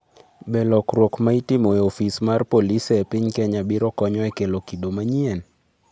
Be lokruok ma itimo e ofis mar polisi e piny Kenya biro konyo e kelo kido manyien?